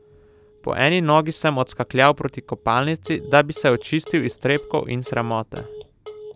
Po eni nogi sem odskakljal proti kopalnici, da bi se očistil iztrebkov in sramote.